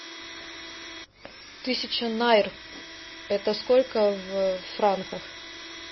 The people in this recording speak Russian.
тысяча найр это сколько в франках